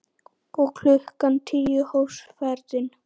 Og klukkan tíu hófst ferðin.